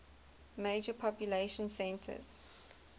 major population centers